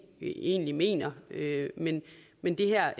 egentlig mener men men det her